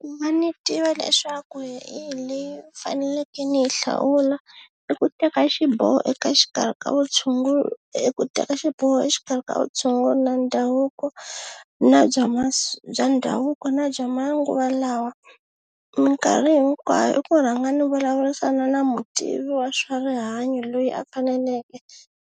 Ku va ni tiva leswaku hi yihi leyi ni faneleke ni yi hlawula i ku teka xiboho eka xikarhi ka i ku teka xiboho exikarhi ka vutshunguri na ndhavuko na bya bya ndhavuko na bya manguva lawa minkarhi hinkwayo i ku rhanga ni vulavurisana na mutivi wa swa rihanyo loyi a faneleke